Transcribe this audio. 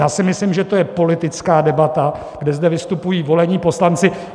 Já si myslím, že to je politická debata, kdy zde vystupují volení poslanci.